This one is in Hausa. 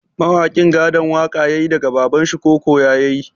Mawakin gadon waƙa yayi daga babanshi ko koya yayi?